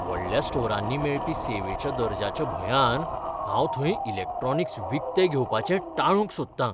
व्हडल्या स्टोरांनी मेळपी सेवेच्या दर्ज्याच्या भंयान हांव थंय इलॅक्ट्रॉनिक्स विकतें घेवपाचें टाळूंक सोदतां.